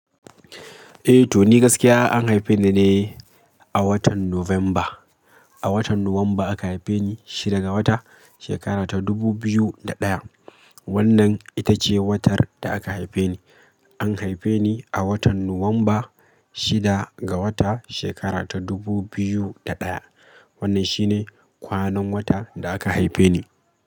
Eh to ni gaskiya an haife ni ne a watan November. A watan Nuwamba aka haife ni shida ga wata, shekara ta 2021. Wannan ita ce watar da aka haife ni. An haife ni a watan Nuwamba shida ga wata shekara ta 2001. Wannan shine kwanan wata da aka haife ni.